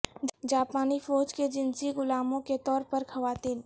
جاپانی فوج کے جنسی غلاموں کے طور پر خواتین